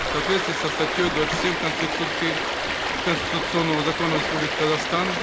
в соответствии со статьей двадцать семь конституции конституционного закона республики казахстан